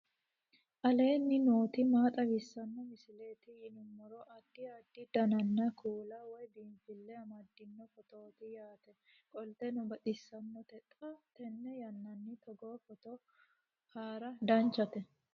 aleenni nooti maa xawisanno misileeti yinummoro addi addi dananna kuula woy biinfille amaddino footooti yaate qoltenno baxissannote xa tenne yannanni togoo footo haara danchate